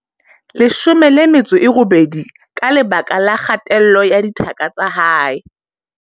18 ka lebaka la kgatello ya thaka tsa hae.